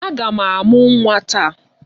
Aga m amụ nwa taa.